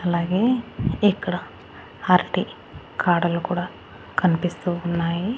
అలాగే ఇక్కడ అరటి కాడలు కూడా కన్పిస్తూ ఉన్నాయి.